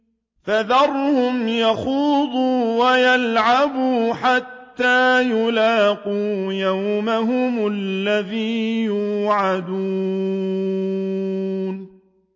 فَذَرْهُمْ يَخُوضُوا وَيَلْعَبُوا حَتَّىٰ يُلَاقُوا يَوْمَهُمُ الَّذِي يُوعَدُونَ